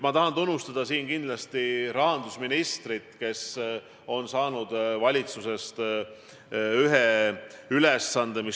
Ma tahan siin kindlasti tunnustada rahandusministrit, kes on saanud ülesande tagada Eesti majanduse võimalikult normaalne toimimine.